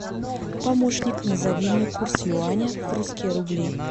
помощник назови мне курс юаня в русские рубли